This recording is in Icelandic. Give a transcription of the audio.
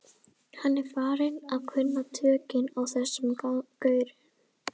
Hann er farinn að kunna tökin á þessum gaurum.